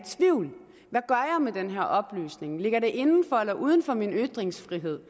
med den her oplysning ligger det inden for eller uden for min ytringsfrihed